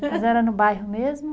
Mas era no bairro mesmo?